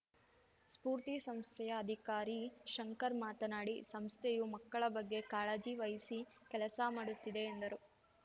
ಸ್ಫೂರ್ತಿ ಸಂಸ್ಥೆಯ ಅಧಿಕಾರಿ ಶಂಕರ್‌ ಮಾತನಾಡಿ ಸಂಸ್ಥೆಯು ಮಕ್ಕಳ ಬಗ್ಗೆ ಕಾಳಜಿ ವಹಿಸಿ ಕೆಲಸಮಾಡುತ್ತಿದೆ ಎಂದರು